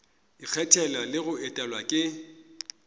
ikgethela le go etelwa ke